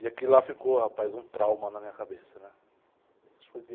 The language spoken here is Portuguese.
E aquilo lá ficou, rapaz, um trauma na minha cabeça, né?